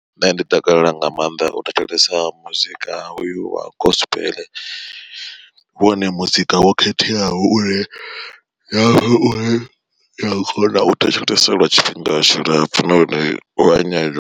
Nṋe ndi takalela nga maanḓa u thetshelesa muzika hoyu wa gospel, wone muzika wo khetheaho une kona u thetshelesa lwa tshifhinga tshilapfu nahone u nyanyu.